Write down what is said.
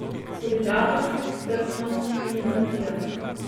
Solidarnost, strpnost in empatija.